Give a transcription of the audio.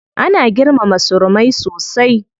Ana girmama surumai sosai.